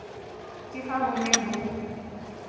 ka ha ho ne ho